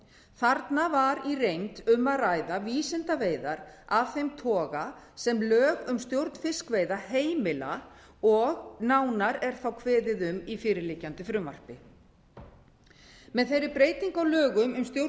þarna var í reynd um að ræða vísindaveiðar af þeim toga sem lög um stjórn fiskveiða heimila og nánar er þá kveðið á um í fyrirliggjandi frumvarpi með þeirri breytingu á lögum um stjórn